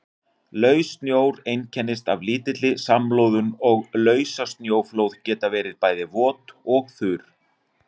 Laus snjór einkennist af lítilli samloðun og lausasnjóflóð geta verið bæði vot og þurr.